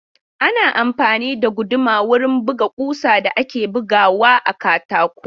Ana amfani da guduma wurin buga ƙusan da ake bugawa a katako.